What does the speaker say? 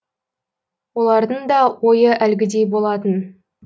олардың да ойы әлгідей болатын